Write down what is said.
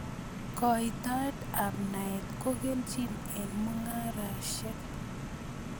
Koitaet ab naet kokelchin eng mung'areshek